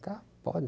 Tá, pode.